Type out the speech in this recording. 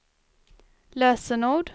lösenord